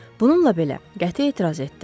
Bununla belə, qəti etiraz etdi: